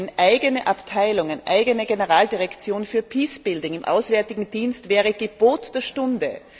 Eine eigene Abteilung, eine eigene Generaldirektion für Peacebuilding im Auswärtigen Dienst wäre Gebot der Stunde.